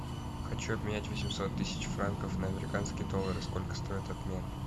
хочу обменять восемьсот тысяч франков на американские доллары сколько стоит обмен